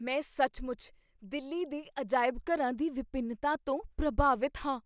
ਮੈਂ ਸੱਚਮੁੱਚ ਦਿੱਲੀ ਦੇ ਅਜਾਇਬ ਘਰਾਂ ਦੀ ਵਿਭਿੰਨਤਾ ਤੋਂ ਪ੍ਰਭਾਵਿਤ ਹਾਂ।